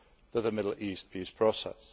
to the Middle East peace process.